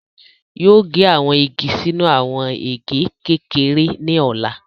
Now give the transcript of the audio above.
Yoo ge awọn igi sinu awọn ege kekere ni ọla